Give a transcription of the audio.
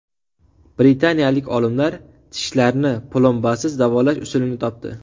Britaniyalik olimlar tishlarni plombasiz davolash usulini topdi.